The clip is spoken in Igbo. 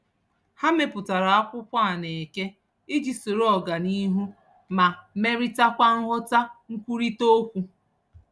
Ha mepụtara akwụkwọ a na-eke iji soro ọganihu ma melitakwa nghọta nkwurịta okwu.